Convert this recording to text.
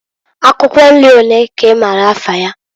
Akwukwo nri olee ka i maara afa ya?